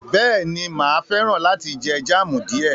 Bẹ́ẹ̀ni, mà á fẹ́ràn láti jẹ jam díẹ̀